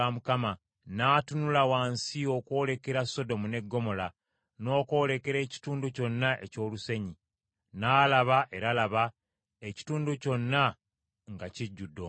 n’atunula wansi okwolekera Sodomu ne Ggomola n’okwolekera ekitundu kyonna eky’olusenyi, n’alaba, era laba, ekitundu kyonna nga kijjudde omukka.